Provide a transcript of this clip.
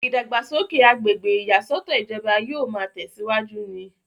ìdàgbàsókè agbègbè ìyàsọ́tọ̀ ìjọba yóò máa tẹ̀síwájú ni